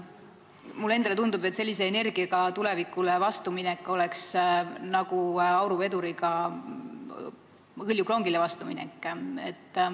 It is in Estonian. Mulle endale tundub, et sellise energiaga tulevikule vastuminek oleks nagu auruveduriga hõljukrongile vastuminek.